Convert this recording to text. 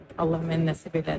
Allah mənə nəsib elədi.